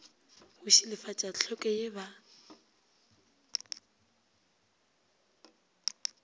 go šilafatša tlhweko ye ba